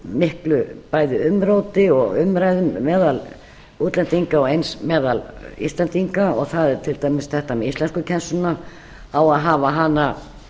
miklu bæði umróti og umræðum meðal útlendinga og eins meðal íslendinga og það er til dæmis þetta með íslenskukennsluna á að hafa hana svoleiðis